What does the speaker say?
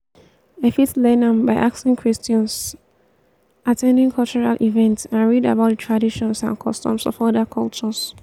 i fit learn am by asking questions at ten ding cultural events and read about di traditions and customs of oda cultures.